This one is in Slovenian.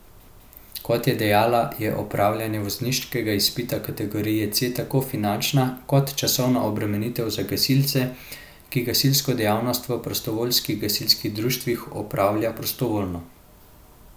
Kot je dejala, je opravljanje vozniškega izpita kategorije C tako finančna kot časovna obremenitev za gasilce, ki gasilsko dejavnost v prostovoljnih gasilskih društvih opravljajo prostovoljno.